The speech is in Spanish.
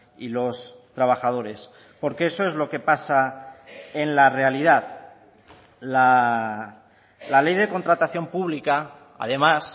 y los trabajadores porque eso es lo que pasa en la realidad la ley de contratación pública además